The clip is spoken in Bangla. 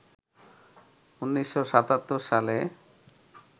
১৯৭৭ সালে